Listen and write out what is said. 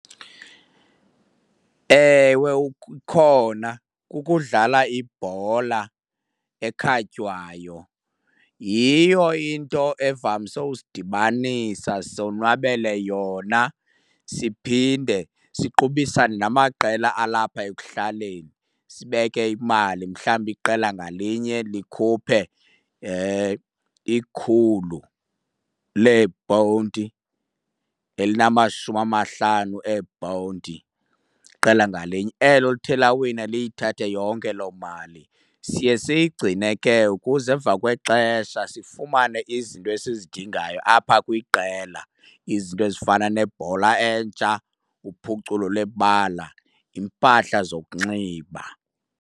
Ewe ikhona, kukudlala ibhola ekhatywayo. Yiyo into evamise usidibanisa sonwabele yona siphinde siqubisane namaqela alapha ekuhlaleni, sibeke imali. Mhlawumbi iqela ngalinye likhuphe ikhulu leeponti elinamashumi amahlanu eeponti, iqela ngalinye. Elo lithe lawina liyithathe yonke loo mali. Siye siyigcine ke ukuze emva kwexesha sifumane izinto esizidingayo apha kwiqela, izinto ezifana nebhola entsha, uphuculo lwebala, iimpahla zokunxiba.